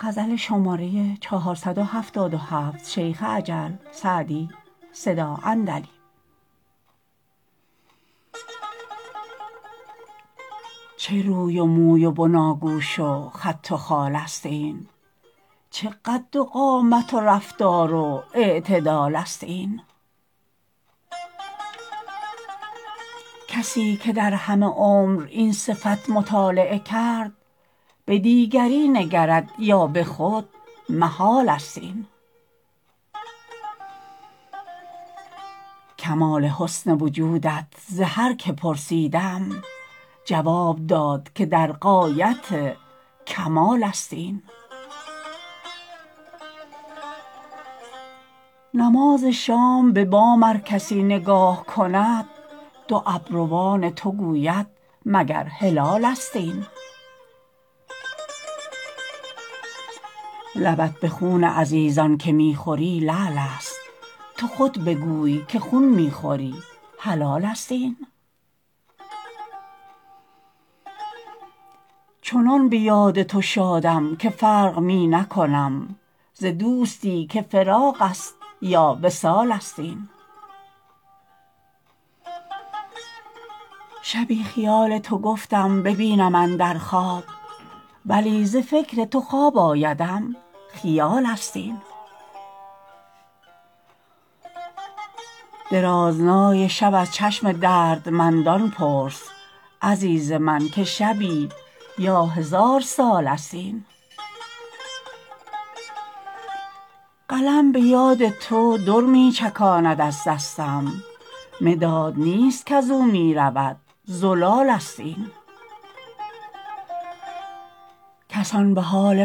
چه روی و موی و بناگوش و خط و خال است این چه قد و قامت و رفتار و اعتدال است این کسی که در همه عمر این صفت مطالعه کرد به دیگری نگرد یا به خود محال است این کمال حسن وجودت ز هر که پرسیدم جواب داد که در غایت کمال است این نماز شام به بام ار کسی نگاه کند دو ابروان تو گوید مگر هلالست این لبت به خون عزیزان که می خوری لعل است تو خود بگوی که خون می خوری حلال است این چنان به یاد تو شادم که فرق می نکنم ز دوستی که فراق است یا وصال است این شبی خیال تو گفتم ببینم اندر خواب ولی ز فکر تو خواب آیدم خیال است این درازنای شب از چشم دردمندان پرس عزیز من که شبی یا هزار سال است این قلم به یاد تو در می چکاند از دستم مداد نیست کز او می رود زلال است این کسان به حال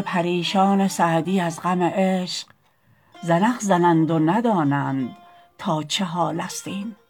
پریشان سعدی از غم عشق زنخ زنند و ندانند تا چه حال است این